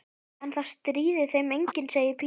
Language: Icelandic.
En það stríðir þeim enginn, segir Pína.